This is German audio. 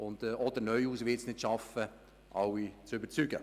Und auch ich werde es nicht schaffen, alle zu überzeugen.